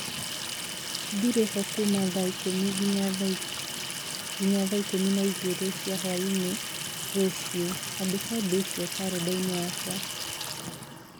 Ndirĩ ho kuuma thaa ikũmi nginya thaa ikũmi na igĩrĩ cia hwaĩ-inĩ rũciũ. Andĩka ũndũ ũcio karenda-inĩ yakwa